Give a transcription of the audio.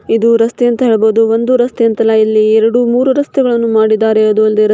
ಇದು ರಸ್ತೆ ಅಂತ ಹೇಳ್ಬಹುದು ಒಂದು ರಸ್ತೆ ಅಂತ ಅಲ್ಲ ಇಲ್ಲಿ ಎರಡು ಮುರು ರಸ್ತೆಗಳನ್ನ ಮಾಡಿದ್ದಾರೆ ಅದು ಒಂದು --